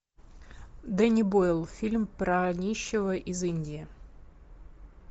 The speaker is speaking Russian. дэнни бойл фильм про нищего из индии